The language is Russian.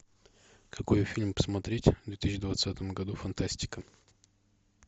какой фильм посмотреть в две тысячи двадцатом году фантастика